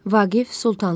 Vaqif Sultanlı.